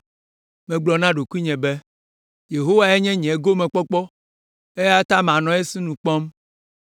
Megblɔ na ɖokuinye be, “Yehowae nye nye gomekpɔkpɔ, eya ta manɔ esinu kpɔm.”